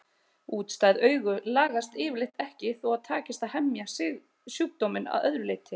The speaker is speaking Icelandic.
Útstæð augu lagast yfirleitt ekki þó að takist að hemja sjúkdóminn að öðru leyti.